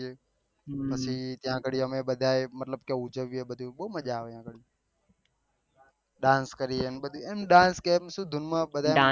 પછી ત્યાં આગળી અમે બહુ ઉજવિયે બધું બહુ મજા આવે ડાન્સ કરીએ એમ ડાન્સ કેહવાની સુ ધૂન માં